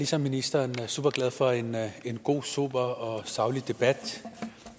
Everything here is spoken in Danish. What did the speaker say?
ligesom ministeren superglad for en god sober og saglig debat